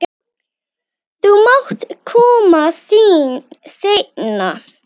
Þú mátt koma seinna.